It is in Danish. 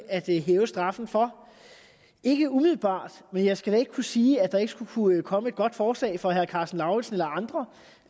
at hæve straffen for ikke umiddelbart men jeg skal da ikke kunne sige at der ikke skulle kunne komme et godt forslag fra herre karsten lauritzen eller andre